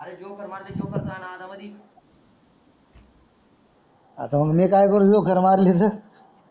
आता मी करू ठोकर मारली तरी